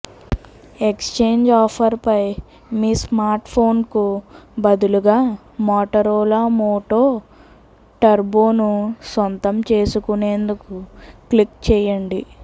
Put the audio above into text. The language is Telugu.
ఎక్స్ఛేంజ్ ఆఫర్ పై మీ స్మార్ట్ఫోన్కు బదులుగా మోటరోలా మోటో టర్బోను సొంతం చేసుకునేందుకు క్లిక్ చేయండి